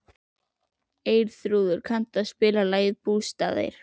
Eyþrúður, kanntu að spila lagið „Bústaðir“?